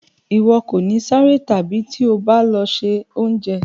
Iwọ kò ní ṣeré tabi ti o ba lọ se oúnjẹ.